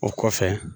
O kɔfɛ